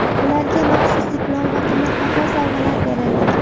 Ularga maxsus diplom va qimmatbaho sovg‘alar berildi.